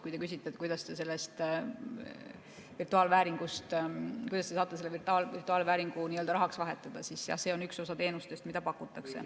Kui te küsite, kuidas te saate selle virtuaalvääringu rahaks vahetada, siis jah, see on üks osa teenustest, mida pakutakse.